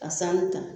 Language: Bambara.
Ka sanu ta